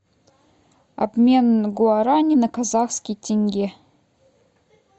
обмен гуарани на казахский тенге